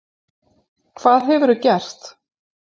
Hvað hefurðu gert?